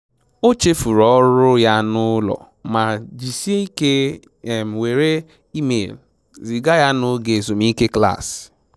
O chefuru ọrụ ya na ụlọ ma jisie ike were email ziga ya na oge ezumike klaasị